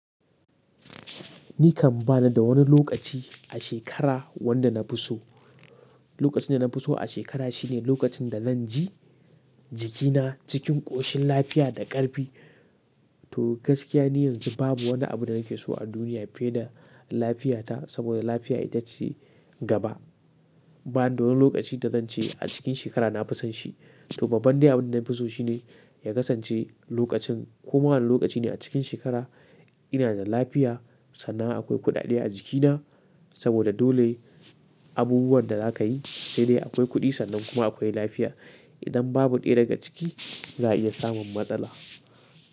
Ni kan ba ni da wani lokaci a shekara wanda na fi so. Lokacin da na fi so a shekara shi ne lokacin da zan ji jikina cikin ƙoshin lafiya da ƙarfi. To gaskiya ni yanzu babu wani abu da nake so a duniya fiye da lafiyata saboda lafiya ita ce gaba. Ba ni da wani lokaci da zance a cikin shekara na fi son shi. To babba dai abin da na fi so shi ne ya kasance lokacin ko ma wane lokaci ne a cikin shekara ina da lafiya sannan akwai kuɗaɗe a jikina saboda dole abubuwan da za ka yi sai dai akwai kuɗi sannan kuma akwai lafiya. Idan babu ɗaya daga ciki za a iya samun matsala.